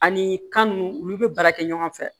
Ani kan nunnu olu be baara kɛ ɲɔgɔn fɛ